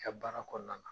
I ka baara kɔnɔna na